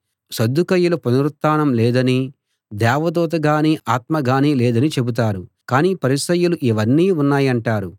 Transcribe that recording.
సద్దూకయ్యులు పునరుత్థానం లేదనీ దేవదూత గానీ ఆత్మగానీ లేదనీ చెబుతారు కాని పరిసయ్యులు ఇవన్నీ ఉన్నాయంటారు